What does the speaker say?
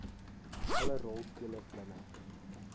alle rolspelers binne